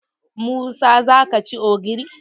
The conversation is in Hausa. Musa za ka ci ogiri?